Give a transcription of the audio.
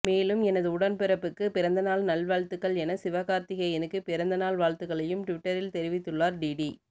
மேலும் எனது உடன்பிறப்புக்கு பிறந்தநாள் நல்வாழ்த்துக்கள் என சிவகார்த்திகேயனுக்கு பிறந்தநாள் வாழ்த்துக்களையும் டிவிட்டரில் தெரிவித்துள்ளார் டிடி